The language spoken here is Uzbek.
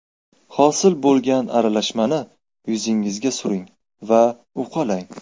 Hosil bo‘lgan aralashmani yuzingizga suring va uqalang.